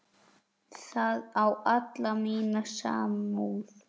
Það á alla mína samúð.